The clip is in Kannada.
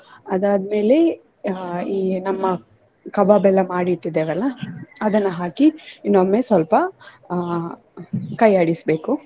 ಅದಾದ್ಮೇಲೆ ಅಹ್ ಈ ನಮ್ಮ ಕಬಾಬ್ ಎಲ್ಲ ಮಾಡಿ ಇಟ್ಟಿದ್ದೇವಲ್ಲ ಅದನ್ನ ಹಾಕಿ ಇನ್ನೊಮ್ಮೆ ಸ್ವಲ್ಪ ಅಹ್ ಕೈ ಆಡಿಸ್ಬೇಕು.